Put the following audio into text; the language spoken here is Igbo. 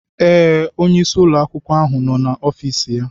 Ee, onyeisi ụlọ akwụkwọ ahụ nọ na ofis ya.